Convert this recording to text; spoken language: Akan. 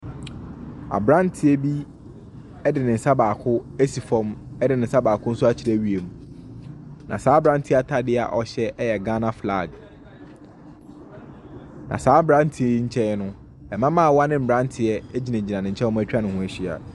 Abranteɛ bi de ne nsa baako asi fam de baako akyerɛ wiem. Na saa abranteɛ ataade a ɔhyɛ yɛ Ghana flag. Na saa abranteɛ yi nkyɛn no, mmabaawa ne mmranteɛ agyinagyina ne nkyɛ a wɔatwa ne ho ahyia.